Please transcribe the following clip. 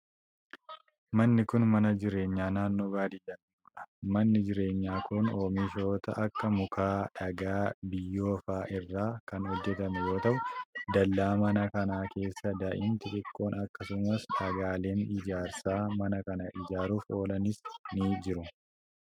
Manni kun, mana jireenyaa naannoo baadiyaa jiruu dha. Manni jireenyaa kun oomishoota akka:muka, dhagaa, biyyoo faa irraa kan hojjatame yoo ta'u, dallaa mana kanaa keessa daa'imti xiqqoon akkasumas dhagaaleen ijaarsaa mana kana ijaaruuf oolanis ni jiru.